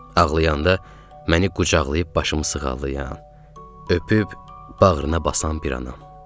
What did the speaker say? Ağlayanda məni qucaqlayıb başımı sığallayan, öpüb bağrına basan bir anam.